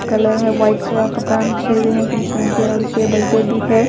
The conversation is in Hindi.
कलर है व्हाइट कलर का कपड़ा पे और टेबल पे भी है।